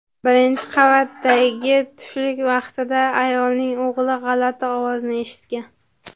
Birinchi qavatdagi tushlik vaqtida ayolning o‘g‘li g‘alati ovozni eshitgan.